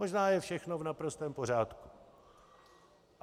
Možná je všechno v naprostém pořádku.